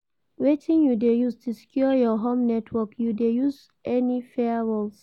Wetin you dey use to secure your home network, you dey use any firewalls?